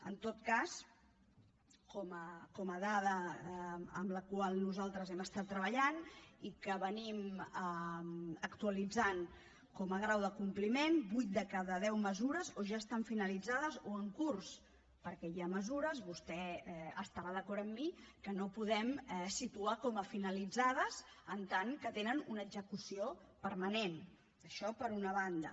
en tot cas com a dada amb la qual nosaltres hem estat treballant i que actualitzem com a grau de compliment vuit de cada deu mesures o ja estan finalitzades o en curs perquè hi ha mesures vostè deu estar d’acord amb mi que no podem situar com a finalitzades en tant que tenen una execució permanent això per una banda